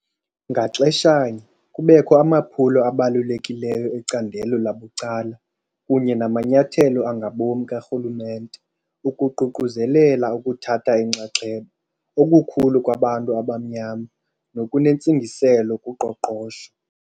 Ngaxeshanye, kubekho amaphulo abalulekileyo ecandelo labucala kunye namanyathelo angabom karhulumente ukuququzelela ukuthatha inxaxheba okukhulu kwabantu abamnyama nokunentsingiselo kuqoqosho.